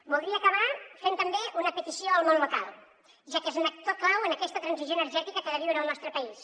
voldria acabar fent també una petició al món local ja que és un actor clau en aquesta transició energètica que ha de viure el nostre país